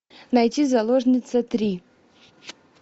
найти заложница три